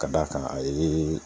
Ka d'a kan a ye